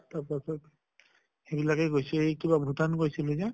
তাৰ পাছ্ত সেইবিলাকে গৈছো। এই কিবা ভূটান গৈছিলো যে